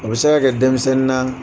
O bɛ se ka kɛ denmisɛnnin na